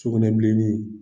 Sugunɛbilenni